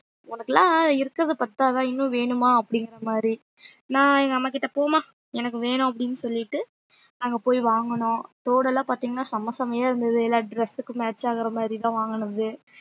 உனக்கெல்லாம் இருக்கிறதை பத்தாதா இன்னும் வேணுமா அப்படிங்கிற மாதிரி நான் எங்க அம்மா கிட்ட போம்மா எனக்கு வேணும் அப்படின்னு சொல்லிட்டு அங்க போய் வாங்கனோம் தோடு எல்லாம் பாத்தீங்கன்னா செம்ம செம்மையா இருந்தது எல்லா dress க்கு match ஆகுற மாதிரி தான் வாங்கனது